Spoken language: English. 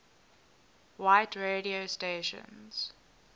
white radio stations